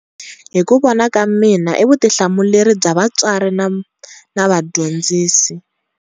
Hi ku vona ka mina i vutihlamuleri bya vatswari na vadyondzisi.